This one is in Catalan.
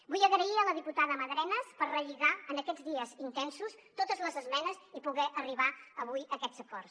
vull agrair a la diputada madrenas per relligar en aquests dies intensos totes les esmenes i poder arribar avui a aquests acords